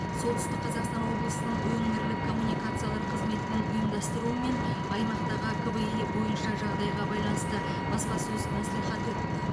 солтүстік қазақстан облысының өңірлік коммуникациялар қызметінің ұйымдастыруымен аймақтағы кви бойынша жағдайға байланысты баспасөз мәслихаты өтті